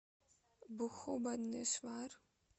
бхубанешвар